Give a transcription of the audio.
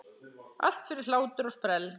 Allt fyrir hlátur og sprell!